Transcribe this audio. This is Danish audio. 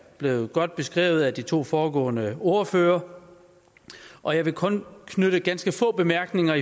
blevet godt beskrevet af de to foregående ordførere og jeg vil kun knytte ganske få bemærkninger